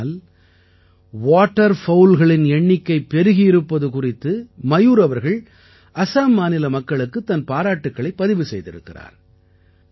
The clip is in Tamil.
ஆனால் வாட்டர் fowlகளின் எண்ணிக்கை பெருகியிருப்பது குறித்து மயூர் அவர்கள் அசாம் மாநில மக்களுக்குத் தன் பாராட்டுக்களைப் பதிவு செய்திருக்கிறார்